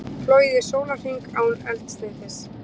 Flogið í sólarhring án eldsneytis